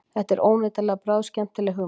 Þetta er óneitanlega bráðskemmtileg hugmynd